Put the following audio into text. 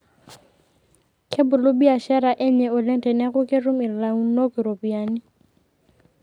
Kebulu biashara enye oleng teneeku ketum ilaunok iropiyiani.